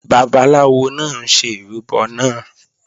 Babaláwo náà ń ṣe ìrúbọ náà